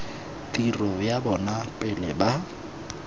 tiro ya bona pele ba